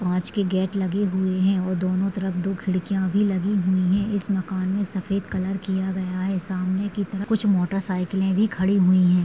और काँच के गेट लगे हुए है और दोनों तरफ दो खिड़किया भी लगी हुई है इस मकान मे सफ़ेद कलर किया गया है सामने की तरफ कुछ मोटरसाइकले भी खड़ी हुई है।